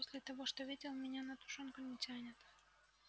после того что видел меня на тушёнку не тянет